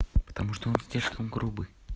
потому что он слишком грубый